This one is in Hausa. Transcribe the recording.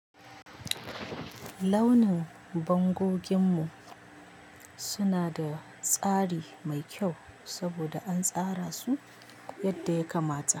Launin bangoginmu suna da tsari mai kyau saboda an tsara su yadda ya kamata.